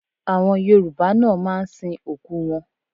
Àwọn Yorùbá náà máa ń sin òkú wọn